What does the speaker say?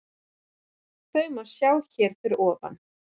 Þau má sjá hér að ofan.